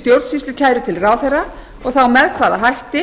stjórnsýslukæru til ráðherra og þá með hvaða hætti